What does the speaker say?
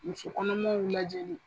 Muso kɔnɔmaw lajɛli.